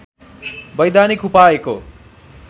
वैधानिक उपायको